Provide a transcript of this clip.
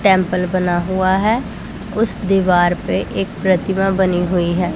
Temple बना हुआ है उस दीवार पे एक प्रतिमा बनी हुई है।